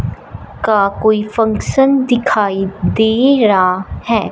का कोई फंक्शन दिखाई दे रा है।